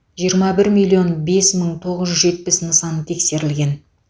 жиырма бір миллион бес мың тоғыз жүз жетпіс нысан тексерілген